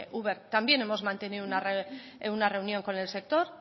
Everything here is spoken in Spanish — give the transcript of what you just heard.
uber también hemos mantenido una reunión con el sector